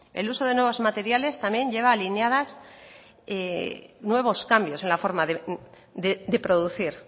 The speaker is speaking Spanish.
el uso de nuevos materiales también lleva alineadas nuevos cambios en la forma de producir